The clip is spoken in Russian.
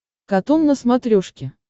катун на смотрешке